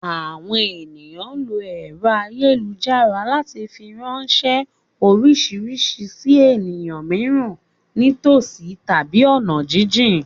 Àwọn ènìyàn ń lo ẹ̀rọ ayélujára láti fi ránṣẹ́ oríṣiríṣi sì ènìyàn mìíràn ní tòsí tàbí ọ̀nà jínjìn